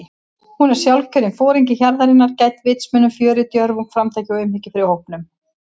Hún er sjálfkjörinn foringi hjarðarinnar- gædd vitsmunum, fjöri, djörfung, framtaki og umhyggju fyrir hópnum.